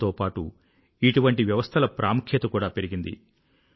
కాలంతో పాటూ ఇటువంటి వ్యవస్థల ప్రాముఖ్యత కూడా పెరిగింది